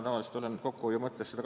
Tavaliselt olen seda teinud.